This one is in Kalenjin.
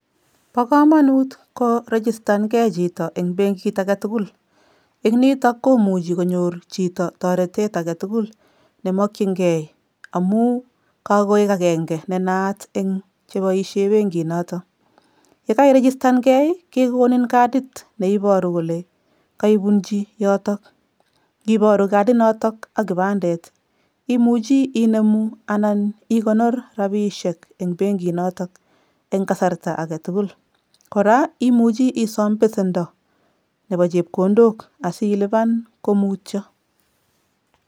Bo komonut korigistankei chito eng benkit aketukul eng nito komuchi konyor chito toretet aketukul nemokchinkei amu kakoek akenke nenaat eng cheboishe benkinoto. Yekairigistankei, kekonin kadit neiboru kole kaibunchi yoto. Nkiboru kadinoto ak kibandet imuchi inemu anan ikonor rapiishek eng benkinoto eng kasarta aketukul. Kora, imuchi isom besendo nepo chepkondok asilipan komutyo.